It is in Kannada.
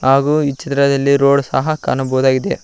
ಹಾಗೂ ಈ ಚಿತ್ರದಲ್ಲಿ ರೋಡ್ ಸಹ ನಾವು ಕಾಣಬಹುದಾಗಿದೆ.